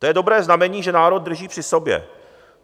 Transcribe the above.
To je dobré znamení, že národ drží při sobě.